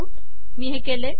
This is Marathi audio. मी हे केले